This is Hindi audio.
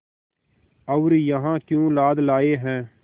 और यहाँ क्यों लाद लाए हैं